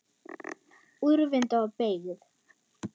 Úrvinda og beygð.